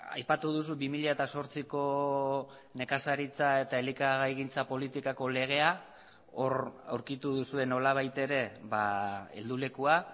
aipatu duzu bi mila zortziko nekazaritza eta elikagaigintza politikako legea hor aurkitu duzue nolabait ere heldulekua